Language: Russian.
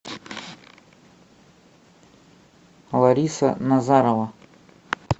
лариса назарова